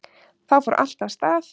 Þá fór allt af stað